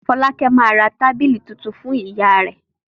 Fọ́lákẹ́ máa ra tábìlì tuntun fún ìyàrá rẹ̀.